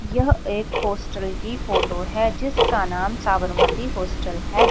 यह एक हॉस्टल की फोटो है जिसका नाम साबरमती हॉस्टल हैं।